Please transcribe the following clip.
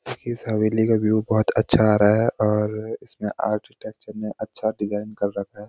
इस हवेली का व्यू बहुत अच्छा आ रहा है और इसमें आर्किटेक्चर ने अच्छा डिज़ाइन कर रखा है।